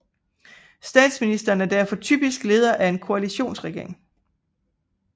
Statsministeren er derfor typisk leder af en koalitionsregering